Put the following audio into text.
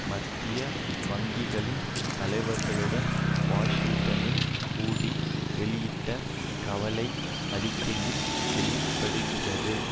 மத்திய வங்கிகளின் தலைவர்களுடன் வாஷிங்டனில் கூடி வெளியிட்ட கவலை அறிக்கைகளில் வெளி படுகிறது